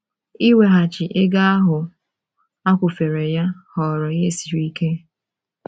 Iweghachi ego ahụ a kwụfere ya ghọrọ ihe siri ike.